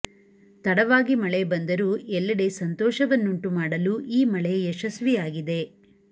ತಡವಾಗಿ ಮಳೆ ಬಂದರೂ ಎಲ್ಲೆಡೆ ಸಂತೋಷವನ್ನುಂಟು ಮಾಡಲು ಈ ಮಳೆ ಯಶಸ್ವಿಯಾಗಿದೆ